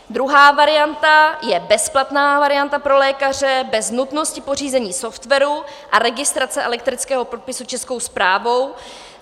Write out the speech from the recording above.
Druhá varianta je bezplatná varianta pro lékaře bez nutnosti pořízení softwaru a registrace elektronického podpisu Českou správou.